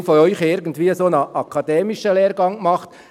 Viele von Ihnen haben irgendwie einen akademischen Lehrgang gemacht.